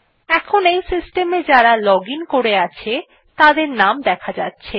এখন এই সিস্টেম এ যারা লগ আইএন করে আছে তাদের নাম দেখা যাচ্ছে